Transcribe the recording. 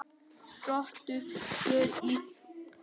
Rottugangur í þotu